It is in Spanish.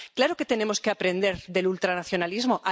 Claro que tenemos que aprender del ultranacionalismo.